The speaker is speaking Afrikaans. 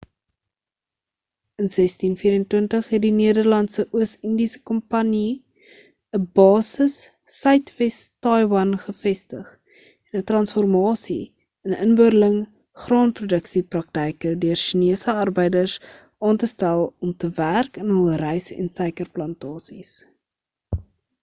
in 1624 het die nederlandse oos indiese kompanjie 'n basis suidwes taiwan gevestig en 'n transformasie in inboorling graanproduksie praktyke deur sjinese arbeiders aan te stel om te werk in hul rys en suikerplantasies